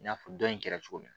I n'a fɔ dɔ in kɛra cogo min na